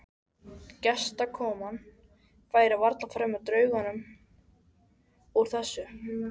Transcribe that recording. Gestakoman færi varla framhjá draugnum úr þessu.